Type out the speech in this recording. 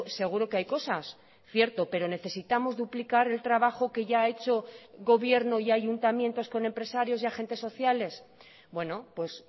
seguro que hay cosas cierto pero necesitamos duplicar el trabajo que ya ha hecho gobierno y ayuntamientos con empresarios y agentes sociales bueno pues